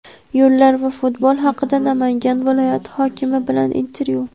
yo‘llar va futbol haqida — Namangan viloyati hokimi bilan intervyu.